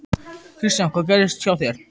Kristján: Hvað gerðist hjá þér?